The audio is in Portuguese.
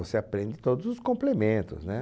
Você aprende todos os complementos né